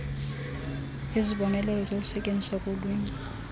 izibonelelo zokusetyenziswa kolwimi